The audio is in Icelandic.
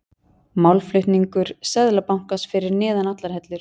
Málflutningur Seðlabankans fyrir neðan allar hellur